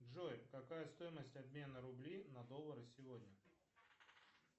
джой какая стоимость обмена рублей на доллары сегодня